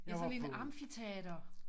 Ja sådan en amfiteater